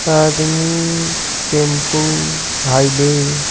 आदमी tempo highway --